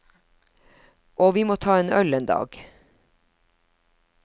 Og vi må ta en øl en dag.